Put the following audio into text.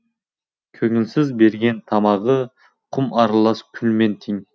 көңілсіз берген тамағы құм аралас күлмен тең